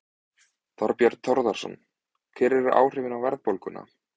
Þorbjörn Þórðarson: Hver eru áhrifin á verðbólguna?